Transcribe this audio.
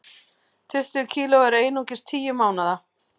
Tuttugu kg en einungis tíu mánaða